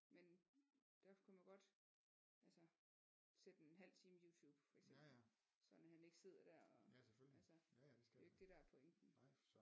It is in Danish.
Men derfor kunne man godt altså sætte en halv time Youtube for eksempel sådan at han ikke sidder dér og altså det er jo ikke det der er pointen